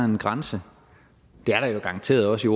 en grænse det er der jo garanteret også